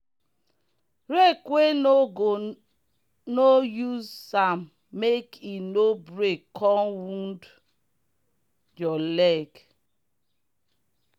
rake wey no go no use am make e no break come wound your leg.